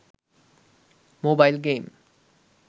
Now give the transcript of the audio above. mobile game